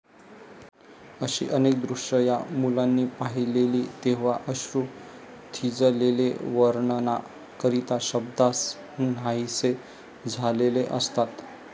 अशी अनेक दृश्य या मुलांनी पाहिलेली तेव्हा अश्रू थिजलेले वर्णना करिता शब्द नाहीसे झालेले असतात